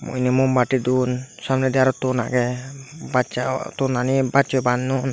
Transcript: unni mumbatti don samnedi aro ton agey bassa tonani bassoi banyon.